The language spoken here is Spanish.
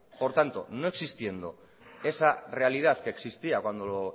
por tanto no existiendo esa realidad que existía cuando lo